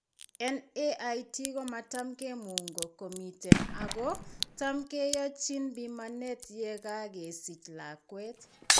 NAIT komatam kimungo komiten ago tam keyachin bimanet yekagesich lakwet